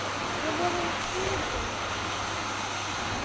Við vorum tvítug.